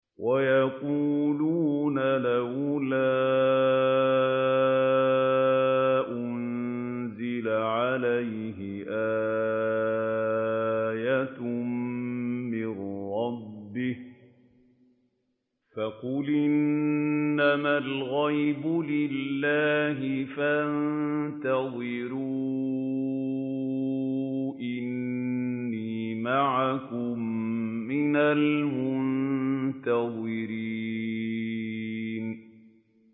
وَيَقُولُونَ لَوْلَا أُنزِلَ عَلَيْهِ آيَةٌ مِّن رَّبِّهِ ۖ فَقُلْ إِنَّمَا الْغَيْبُ لِلَّهِ فَانتَظِرُوا إِنِّي مَعَكُم مِّنَ الْمُنتَظِرِينَ